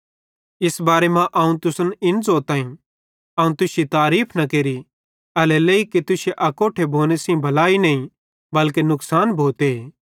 इस बारे मां अवं तुसन इन ज़ोताईं अवं तुश्शी तारीफ़ न केरि एल्हेरेलेइ कि तुश्शे अकोट्ठे भोने सेइं भलाई नईं बल्के नुकसान भोते